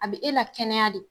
A be e la kɛnɛya de